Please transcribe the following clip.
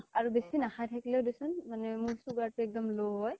আৰু বেছি নাখায় থাকিলেও দে চোন মানে মোৰ sugar তো একদম low হয়